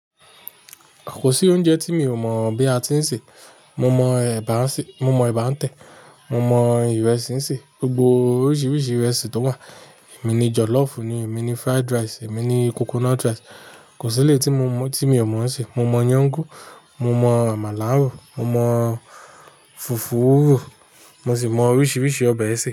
Kò sí oúnjẹ tí mi ò mọ̀ bí a ti ń sè. Mo mọ ẹ̀bà ń sè, mo mọ ẹ̀bà ń tẹ̀, mo mọ ìrẹsì ń sè, gbogbo oríṣiríṣi ìrẹsì tó wà. Èmi ni jollof ni, èmi ni fried rice, èmi ni coconut rice. Kò sí eléyìí tí mo, tí mi ò mọ̀ ń sè. Mo mọ iyán gún, mo mọ àmàlà rò, mo mọ fùfú rò, mo sì mọ oríṣiríṣi ọbẹ̀ ẹ sè.